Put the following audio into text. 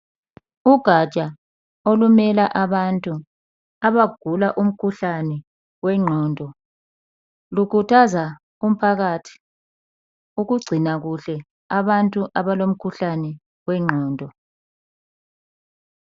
Ugatsha olumela abantu abagula umkhuhlane wengqondo lukhuthaza umphakathi ukugcina kuhle abantu abalomkhuhlane wengqondo.